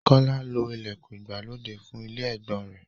Kọ́lá lo ìlẹ̀kùn ìgbàlódé fún ilé ẹ̀gbọ́n-ọn rẹ̀.